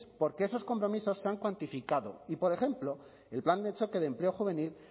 porque esos compromisos se han cuantificado y por ejemplo el plan de choque de empleo juvenil